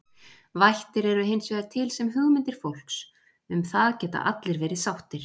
Vættir eru hins vegar til sem hugmyndir fólks, um það geta allir verið sáttir.